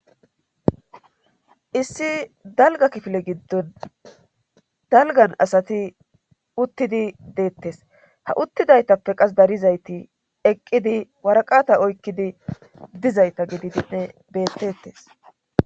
issi dalga kifile giddon dalgan asati uttidi deettes ha uttidaytappe qas darizayti eqqidi waraqata oykkidi dizayta gididinne beettettes